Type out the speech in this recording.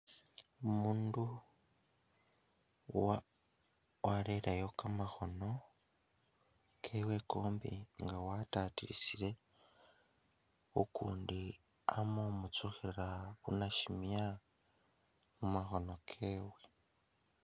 Umundu wareleyo kamakhono kewe kombi nga wa tatilisile, ukundi ama khumutsukhila nashimya mumakhono kewe.